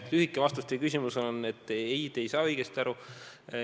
Lühike vastus teie küsimusele on: ei, te ei saanud õigesti aru.